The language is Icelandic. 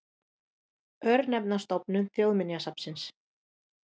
Örnefnastofnun Þjóðminjasafns.